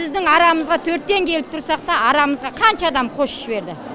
біздің арамызға төрттен келіп тұрсақта арамызға қанша адам қосып жіберді